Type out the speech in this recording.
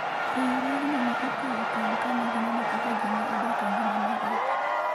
Riwruogno ne okawo okang' kane gineno kaka ji ne odak e ngima marach.